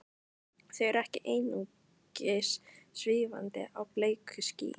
Þau eru ekki einungis svífandi á bleiku skýi.